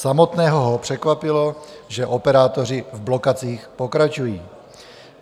Samotného ho překvapilo, že operátoři v blokacích pokračují.